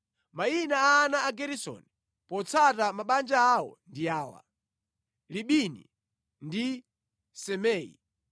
Mayina a ana a Geresoni potsata mabanja awo ndi awa: Libini ndi Simei.